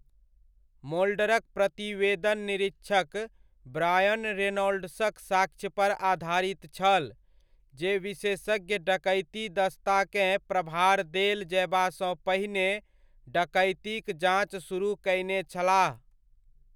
मोल्डरक प्रतिवेदन निरीक्षक ब्रायन रेनॉल्ड्सक साक्ष्यपर आधारित छल, जे विशेषज्ञ डकैती दस्ताकेँ प्रभार देल जयबासँ पहिने डकैतीक जाँच सुरुह कयने छलाह।